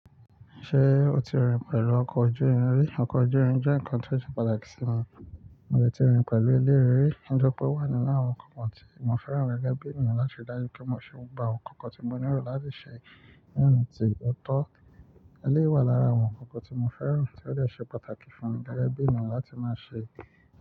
Ṣé o ti rín pẹ̀lú ọkọ̀ ojú irin rí? Ọkọ̀ ojú irin jẹ́ ǹkan tó ṣe pàtàkì sí mi. Mo ti rí pẹ̀lú eleyii rí. Ǹitori ó pé wà nínú àwọn ǹkan tí mo fẹ́ràn gẹ́gẹ́ bí ènìyàn láti ri dájú pe mo ṣe gbogbo àwọn ǹkan tí mo nílò láti ṣe ni ona ti ọ̀tọ̀. Eléyi wà lára àwọn ǹkan tí mo fẹ́ràn tí ó jẹ́ ṣe pàtàkì fún mi gẹ́gẹ́ bí ènìyàn láti má ṣe.